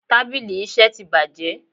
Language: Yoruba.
Tábìlì iṣẹ́ tí bàjé.